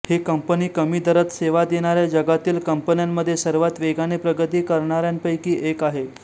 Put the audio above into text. ही company कमी दरात सेवा देणाऱ्या जगातील कंपन्यांमध्ये सर्वात वेगाने प्रगती करणाऱ्यांपैकी एक आहे